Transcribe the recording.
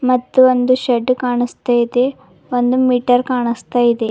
ಮತ್ತು ಒಂದು ಶೇಡ್ದ್ ಕಾಣಸ್ತತೆ ಒಂದು ಮೀಟರ್ ಕಾಣಸ್ತಾ ಇದೆ.